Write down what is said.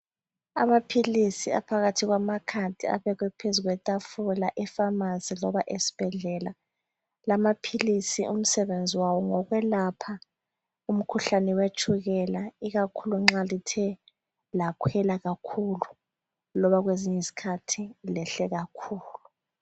Amaphilisi aphakathi kwama card abekwe phezu kwe tafula epharmacy loba esibhedlela .La maphilisi umsebenzi wawo ngowokwelapha umkhuhlane wetshukela . Ikakhulu nxa lithe lakhwela kakhulu loba kwezinyi zikhathi lehle kakhulu .